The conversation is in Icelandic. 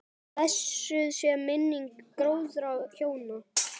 Blessuð sé minning góðra hjóna.